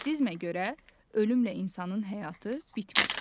Buddizmə görə ölümlə insanın həyatı bitmir.